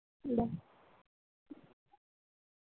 Bye